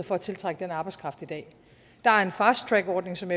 for at tiltrække den arbejdskraft i dag der er en fast track ordning som